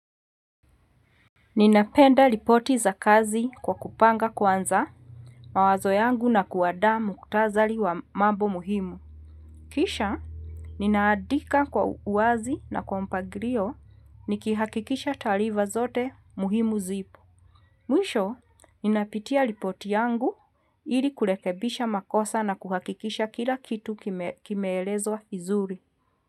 Ninapenda ripoti za kazi kwa kupanga kwanza mawazo yangu na kuandaa muktasali wa mambo muhimu. Kisha, ninaadika kwa uwazi na kwa mpangilio nikihakikisha taarifa zote muhimu zipo. Mwisho ninapitia ripoti yangu ili kurekebisha makosa na kuhakikisha kila kitu kimeelezwa vizuri.